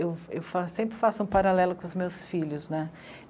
Eu, eu fa... sempre faço um paralelo com os meus filhos, né.